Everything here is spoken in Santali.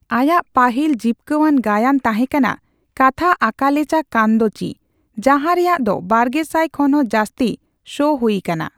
ᱟᱭᱟᱜ ᱯᱟᱹᱦᱤᱞ ᱡᱤᱯᱠᱟᱹᱣᱟᱱ ᱜᱟᱭᱟᱱ ᱛᱟᱦᱮᱸᱠᱟᱱᱟ ᱠᱟᱛᱷᱟ ᱟᱠᱟᱞᱮᱪᱟ ᱠᱟᱱᱫᱚᱪᱤ, ᱡᱟᱦᱟ ᱨᱮᱭᱟᱜ ᱫᱚ ᱵᱟᱨᱜᱮᱥᱟᱭ ᱠᱷᱚᱱ ᱦᱚᱸ ᱡᱟᱹᱥᱛᱤ ᱥᱳ ᱦᱩᱭᱟᱠᱟᱱᱟ ᱾